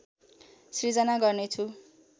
सिर्जना गर्नेछु